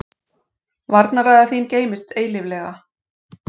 Varnarræða þín geymist eilíflega.